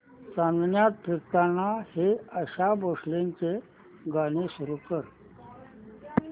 चांदण्यात फिरताना हे आशा भोसलेंचे गाणे सुरू कर